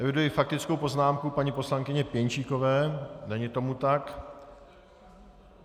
Eviduji faktickou poznámku paní poslankyně Pěnčíkové - není tomu tak.